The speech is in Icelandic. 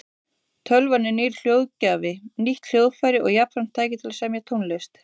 Tölvan er nýr hljóðgjafi, nýtt hljóðfæri og jafnframt tæki til að semja tónlist.